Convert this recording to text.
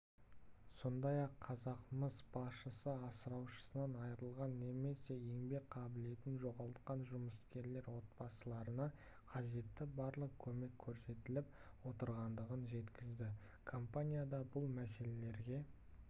сондай-ақ қазақмыс басшысы асыраушысынан айырылған немесе еңбек қабілетін жоғалтқан жұмыскерлер отбасыларына қажетті барлық көмек көрсетіліп отырғандығын жеткізді компанияда бұл мәселелерге